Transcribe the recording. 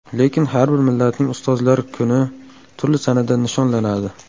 Lekin har bir millatning ustozlar kuni turli sanada nishonlanadi.